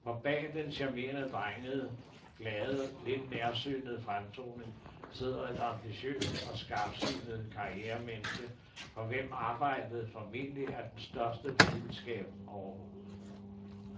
For bag den charmerende, drengede, glade og lidt nærsynede fremtoning sidder et ambitiøst og skarpsynet karrieremenneske, for hvem arbejdet formentlig er den største lidenskab overhovedet.